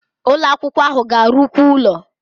Ụlo akwụkwọ ahụ ga-arụkwu ụlọ